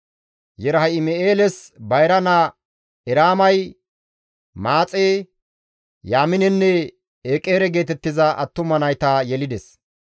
Yerahim7eeles bayra naa Eraamay Maaxe, Yaaminenne Eqere geetettiza attuma nayta yelides.